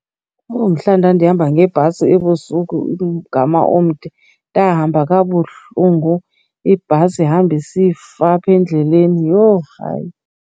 Owu, mhla ndandihamba ngebhasi ebusuku umgama omde. Ndahamba kabuhlungu ibhasi ihambe isifa apha endleleni, yho hayi.